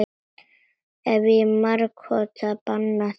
Ég hef margoft bannað þér.